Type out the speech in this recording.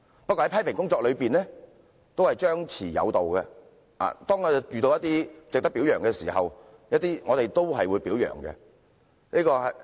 不過，批評工作也講求張弛有度，遇到一些值得表揚的事情，我們也會表揚。